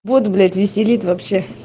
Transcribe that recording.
бот блять веселит вообще